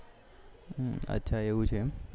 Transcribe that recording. અચ્છા એવું છે એમ